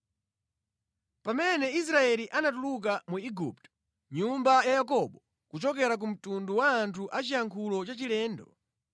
Pamene Israeli anatuluka mu Igupto, nyumba ya Yakobo kuchoka ku mtundu wa anthu a chiyankhulo chachilendo,